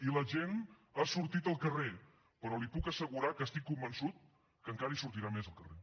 i la gent ha sortit al carrer però li puc assegurar que n’estic convençut encara hi sortirà més al carrer